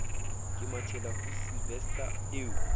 ke mathela ho sylvester eo